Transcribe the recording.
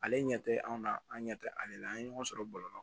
Ale ɲɛ tɛ anw na an ɲɛ tɛ ale la an ye ɲɔgɔn sɔrɔ bɔlɔlɔ la